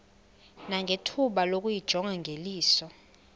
nangethuba lokuyijonga ngeliso